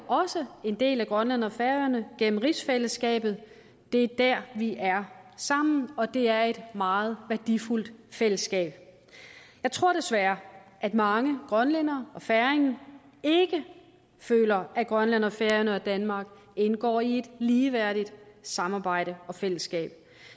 også en del af grønland og færøerne gennem rigsfællesskabet det er der vi er sammen og det er et meget værdifuldt fællesskab jeg tror desværre at mange grønlændere og færinger ikke føler at grønland færøerne og danmark indgår i et ligeværdigt samarbejde og fællesskab